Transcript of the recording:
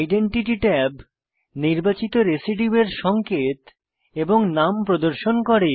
identity tab নির্বাচিত রেসিডিউয়ের সঙ্কেত এবং নাম প্রদর্শন করে